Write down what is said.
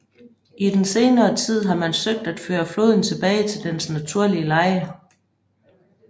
I den senere tid har man søgt at føre floden tilbage til dens naturlige leje